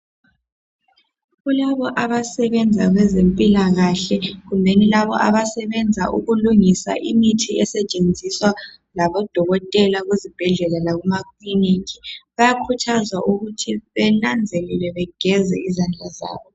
Kulabo abasebenza kwezempilakahle kumbe labo abasebenza ukulungisa imithi esetshenziswa ngabodokotela bezibhedela labemakilinika bayakhuthazwa ukuthi bananzelele bageze izandla zabo.